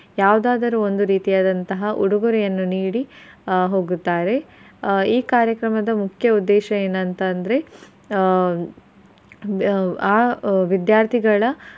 ಯಾವುದಾದರು ಒಂದು ರೀತಿಯಾದಂತಹ ಉಡುಗೊರೆಯನ್ನು ನೀಡಿ ಆಹ್ ಹೋಗುತ್ತಾರೆ. ಆಹ್ ಈ ಕಾರ್ಯಕ್ರಮದ ಮುಖ್ಯ ಉದ್ದೇಶ ಏನ್ ಅಂತ್ ಅಂದ್ರೆ ಆಹ್ ಆ ವಿದ್ಯಾರ್ಥಿಗಳ.